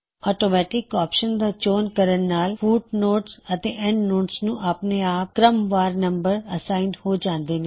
automatic option ਦਾ ਚੋਣ ਕਰਨ ਨਾਲ ਫੁੱਟਨੋਟਸ ਅਤੇ ਐੱਨਡਨੋਟਸ ਨੂੰ ਆਪਨੇ ਆਪ ਕ੍ਰਮਵਾਰ ਨੰਬਰ ਅਸਾਈਨ ਹੋ ਜਾਂਦੇ ਨੇ